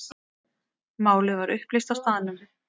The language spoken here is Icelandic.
Málið var upplýst á staðnum.